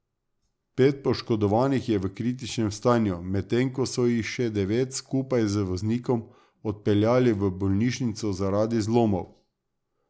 Pet poškodovanih je v kritičnem stanju, medtem ko so jih še devet, skupaj z voznikom, odpeljali v bolnišnico zaradi zlomov.